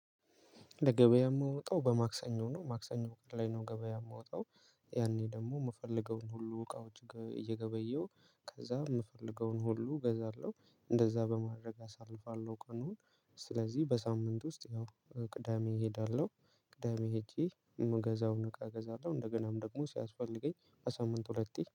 ለገበያ የምወጣው በማክሰኞ ነው ማክሰኞ ፎቅ ላይ ነው ገበያ የምወጣው። ያኔ ደግሞ የምፈልገውን ሁሉ እቃወች እየገበየው ከዛ የምፈልገውን ሁሉ እገዛለሁ እንደዛ በማድረግ አሳልፋለሁ ቀኑን። ስለዚህ በሳምንት ውስጥ ያው ቅዳሜ እሄዳለሁ። ቅዳሜ ሄጄ የምገዛውን እቃ እገዛለሁ እንደገናም ደግሞ ሲያስፈልገኝ በሳምንት ሁለቴ